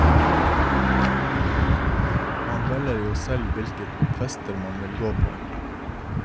Man velger jo selv hvilke fester man vil gå på.